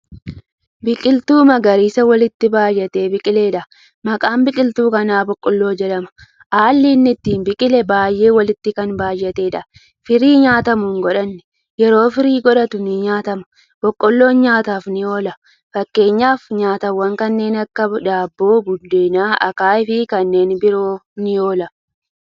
Biqiltuu magariisa walitti baay'atee biqileedha. Maqaan biqiltuu kana boqqoolloo jedhama. Haalli inni itti biqile baay'ee walitti Kan baay'ateedha. Firii nyaatamu hin godhanne. Yeroo firii godhatu ni nyaatama. Boqqoolloon nyaataaf ni oola. Fakkeenyaf nyaatawwaan kanneen akka daabboo, buddeena, akaayiifi kanneen biroof ni oola.